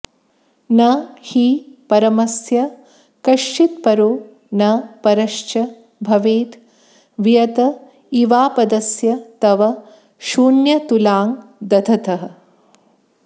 न हि परमस्य कश्चिदपरो न परश्च भवेद् वियत इवापदस्य तव शून्यतुलां दधतः